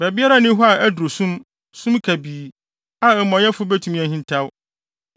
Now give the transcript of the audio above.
Baabiara nni hɔ a aduru sum, sum kabii, a amumɔyɛfo betumi ahintaw.